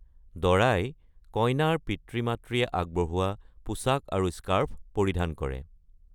বৰে কইনাৰ পিতৃ-মাতৃয়ে আগবঢ়োৱা পোছাক আৰু স্কাৰ্ফ পৰিধান কৰে।